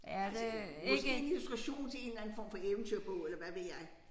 Øh måske en diskussion til en eller anden form for eventyrbog eller hvad ved jeg